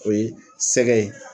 O ye sɛgɛ ye.